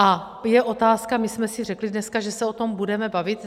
A je otázka - my jsme si řekli dneska, že se o tom budeme bavit.